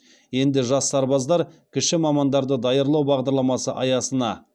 енді жас сарбаздар кіші мамандарды даярлау бағдарламасы аясына